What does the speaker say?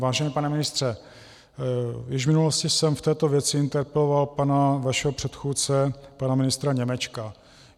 Vážený pane ministře, již v minulosti jsem v této věci interpeloval pana vašeho předchůdce pana ministra Němečka.